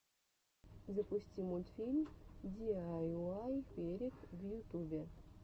запусти мультфильм диайуай перек в ютубе